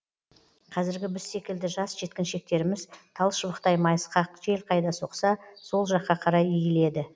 қазіргі біз секілді жас жеткіншектеріміз тал шыбықтай майысқақ жел қайда соқса сол жаққа қарай иіледі